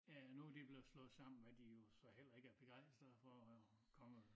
Ja nu de blevet slået sammen hvad de jo så heller ikke er begejstret for og kommer